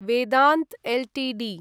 Vedanta Ltd